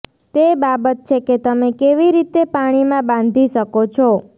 તે બાબત છે કે તમે કેવી રીતે પાણીમાં બાંધી શકો છો